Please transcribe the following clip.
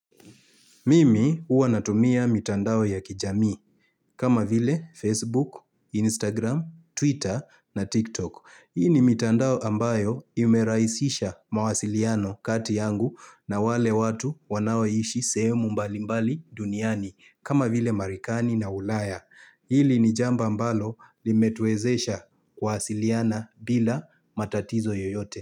Mimi huwa natumia mitandao ya kijamii kama vile Facebook, Instagram, Twitter na TikTok. Hii ni mitandao ambayo imerahisisha mawasiliano kati yangu na wale watu wanaoishi sehemu mbalimbali duniani kama vile Marekani na ulaya. Hili ni jambo ambalo limetuwezesha kuwasiliana bila matatizo yoyote.